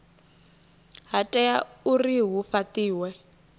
ha tea uri hu fhatiwe